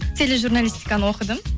тележурналистиканы оқыдым